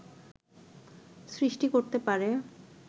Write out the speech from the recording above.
সৃষ্টি করতে পারে